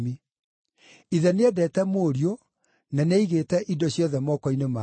Ithe nĩendete Mũriũ na nĩ aigĩte indo ciothe moko-inĩ make.